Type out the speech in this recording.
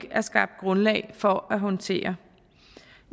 er skabt grundlag for at håndtere